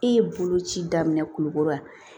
E ye bolo ci daminɛ kulukoro yan